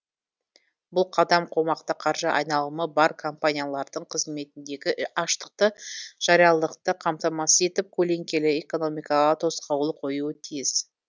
бұл қадам қомақты қаржы айналымы бар компаниялардың қызметіндегі аштықты жариялықты қамтамасыз етіп көлеңкелі экономикаға тосқауыл қоюы тиіс